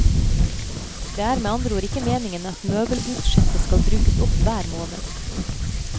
Det er med andre ord ikke meningen at møbelbudsjettet skal brukes opp hver måned.